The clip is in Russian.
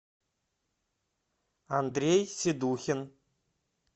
андрей седухин